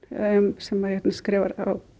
sem skrifar